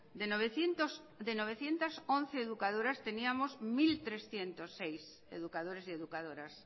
de novecientos once educadoras teníamos mil trescientos seis educadores y educadoras